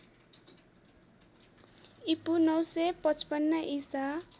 ईपू ९५५ ईसा